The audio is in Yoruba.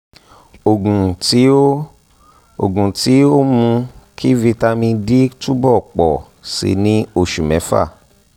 oògùn tí ó oògùn tí ó ń mú kí vitamin d túbọ̀ ń pọ̀ sí i ní òṣù mẹ́fà